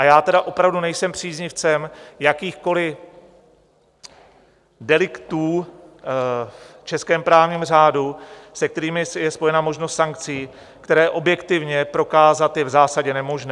A já tedy opravdu nejsem příznivcem jakýchkoliv deliktů v českém právním řádu, se kterými je spojena možnost sankcí, které objektivně prokázat je v zásadě nemožné.